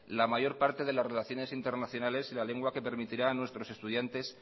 la mayor parte de las relaciones internacionales y la lengua que permitirá a nuestros estudiantes